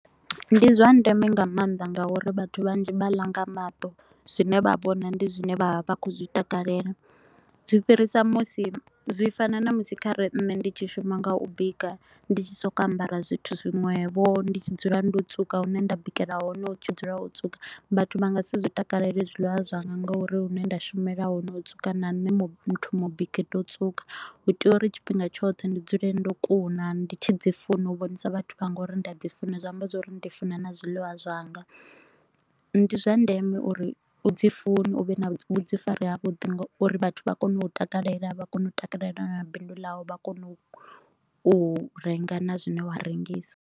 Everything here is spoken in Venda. Ndi zwa ndeme nga maanḓa nga uri vhathu vhanzhi vha la nga maṱo, zwine vha vhona ndi zwine vha vha vha kho u zwitakalela. Zwi fhirisa musi zwi fana ṋamusi kha re nne ndi tshi shuma nga u bika, ndi tshi so ko u ambara zwithu zwiṅwevho ndi tshi dzula ndo tswuka, hune nda bikela hone hu tshi dzula ho tswuka. Vhathu vha nga si zwi takalelezwiḽiwa zwanga nga uri hune nda shumela hone ho tswuka na muthu mubiki ndo tswuka. Hu tea uri tshifhinga tshoṱhe ndi dzule ndo kuna ndi tshi dzi funa u vhonisa vhathu vhanga uri ndi a dzi funa zwa amba zwa uri ndi funa na zwiḽiwa zwanga. Ndi zwa ndeme uri u dzi fune u vhe na vhuḓifari ha vhuḓi ngauri vhathu vha kone u u takalela, vha kone u takalela na bindu ḽau, vha kone u renga na zwine wa rengisa.